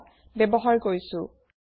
081 beta ব্যৱহাৰ কৰিছো